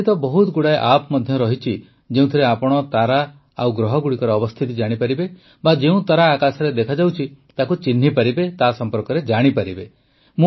ଆଜିକାଲି ତ ବହୁତ ଗୁଡ଼ାଏ ଆପ୍ ମଧ୍ୟ ଅଛି ଯେଉଁଥିରେ ଆପଣ ତାରା ଓ ଗ୍ରହଗୁଡ଼ିକର ଅବସ୍ଥିତି ଜାଣିପାରିବେ ବା ଯେଉଁ ତାରା ଆକାଶରେ ଦେଖାଯାଉଛି ତାକୁ ଚିହ୍ନିପାରିବେ ତା ସମ୍ପର୍କରେ ଜାଣିପାରିବେ